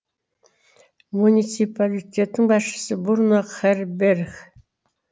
муниципалитеттің басшысы бруно херберих